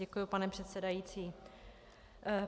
Děkuji, pane předsedající.